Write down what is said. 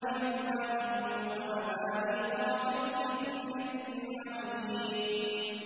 بِأَكْوَابٍ وَأَبَارِيقَ وَكَأْسٍ مِّن مَّعِينٍ